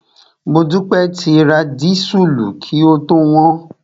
Modúpẹ́ ti ra dísùlù kí ó tó wọ́n.